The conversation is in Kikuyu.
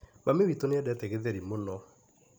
Mami wit nĩendete gĩtheri mũno.